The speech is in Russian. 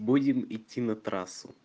будем идти на трассу